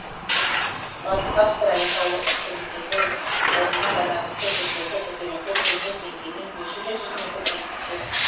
батыс австралия таулы үстіртіндегі орнына байланысты жер беті көтеріңкі теңіз деңгейінен бес жүз жеті жүз метр биіктікте